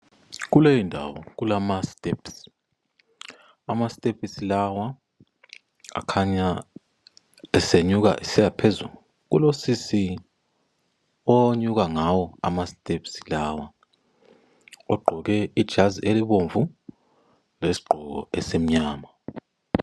Kuleyo ndawo kulama stepsi. Amastepsi lawa akhanya esenyuka esiyaphezulu. Kulo sisi onyuka ngayo amastepsi lawa. Ugqoke ijazi elibomvu lesgqoko esimnyama.